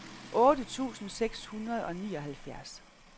otte tusind seks hundrede og nioghalvfjerds